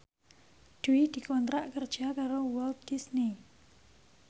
Dwi dikontrak kerja karo Walt Disney